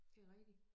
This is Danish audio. Det rigtigt